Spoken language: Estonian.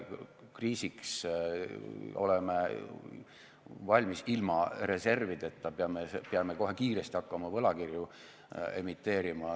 Kriisiks oleme valmis ilma reservideta, peame kohe kiiresti hakkama võlakirju emiteerima.